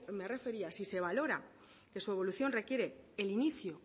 me refería si se valora que su evolución requiere el inicio